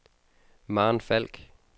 Maren Falk